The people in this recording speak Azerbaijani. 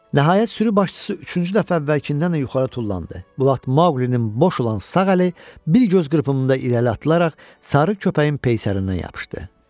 Nəhayət, sürü başçısı üçüncü dəfə əvvəlkindən də yuxarı tullandı, Maqulinin boş olan sağ əli bir göz qırpımında irəli atılaraq sarı köpəyin peysərindən yapışdı.